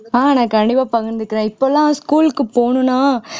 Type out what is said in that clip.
ஆஹ் நான் கண்டிப்பா பகிர்ந்துக்கிறேன் இப்பெல்லாம் school க்கு போகணும்ன்னா